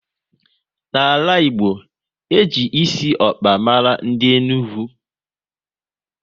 N'ala Igbo, e ji esi ọkpa mara ndị Enugu